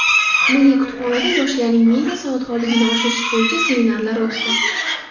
Milliy kutubxonada yoshlarning media savodxonligini oshirish bo‘yicha seminarlar o‘tdi.